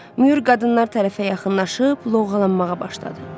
Myur qadınlar tərəfə yaxınlaşıb loğalanmağa başladı.